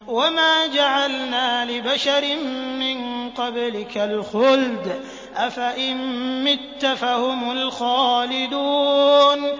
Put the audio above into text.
وَمَا جَعَلْنَا لِبَشَرٍ مِّن قَبْلِكَ الْخُلْدَ ۖ أَفَإِن مِّتَّ فَهُمُ الْخَالِدُونَ